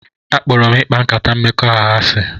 Akpọrọ m ịkpa nkata mmekọahụ asị